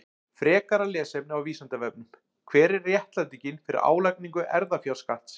Frekara lesefni á Vísindavefnum: Hver er réttlætingin fyrir álagningu erfðafjárskatts?